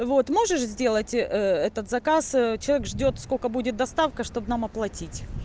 вот можешь сделать этот заказ человек ждёт сколько будет доставка чтобы нам оплатить